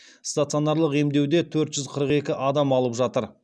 стационарлық емдеуде төрт жүз қырық екі адам алып жатыр